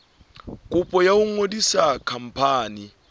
kopo ya ho ngodisa khampani